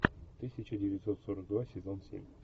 тысяча девятьсот сорок два сезон семь